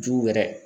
Jugu yɛrɛ